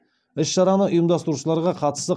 іс шараны ұйымдастырушыларға қатысты